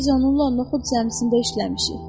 Biz onunla Onuxud cəmiyyətində işləmişik.